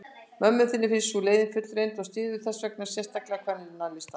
Mömmu þinni finnst sú leið fullreynd, og styður þessvegna sérstakan kvennalista.